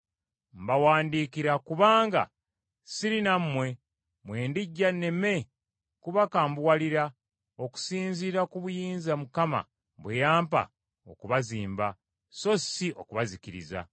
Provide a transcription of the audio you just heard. Mbawandiikira kubanga siri nammwe, bwe ndijja nneme kubakambuwalira, okusinziira ku buyinza Mukama bwe yampa okubazimba, so si okubazikiriza.